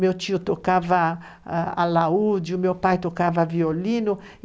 Meu tio tocava alaúde, o meu pai tocava violino.